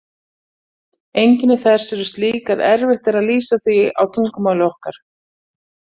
Einkenni þess eru slík að erfitt er að lýsa því á tungumáli okkar.